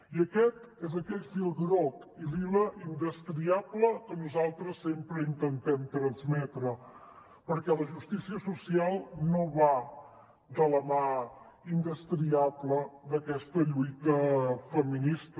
i aquest és aquell fil groc i lila indestriable que nosaltres sempre intentem transmetre perquè la justícia social no va de la mà indestriable d’aquesta lluita feminista